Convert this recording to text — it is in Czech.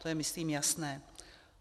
To je myslím jasné.